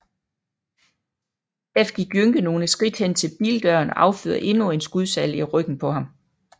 Derefter gik Jønke nogle skridt hen til bildøren og affyrede endnu en skudsalve i ryggen på ham